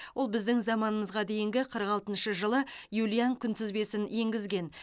ол біздің заманымызға дейінгі қырық алтыншы жылы юлиан күнтізбесін енгізген